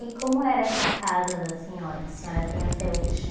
E como era essa casa da senhora, que a senhora tem até hoje?